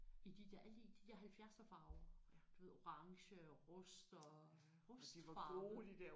I de der alle de de der halvfjerdserfarver du ved orange rust og rustfarve